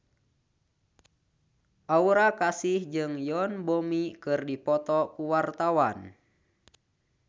Aura Kasih jeung Yoon Bomi keur dipoto ku wartawan